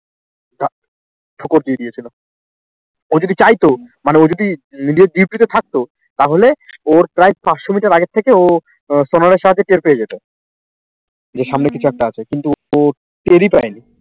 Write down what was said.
ও যদি চাইত মানে ও যদি নিজের duty তে থাকতো তাহলে ওর প্রায় পাঁচশ মিটার আগের থেকেও ও আহ toner এর সাহায্যে টের পেয়ে যেত। দিয়ে সামনে কিছু একটা আছে কিন্তু ও টেরি পায়নি